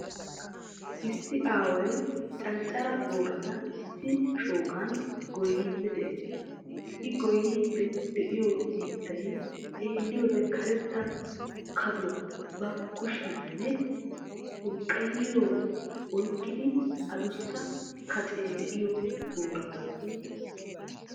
Issi aaway canccare boorata issi shooqan gooyiidi de'ees. I gooyiidi de'iyo biittay xeeliyode karetta kaduwa ba kushiyanne xurqqayiya oyqqidi addussa kaccee de'iyo boorata.